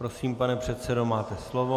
Prosím, pane předsedo, máte slovo.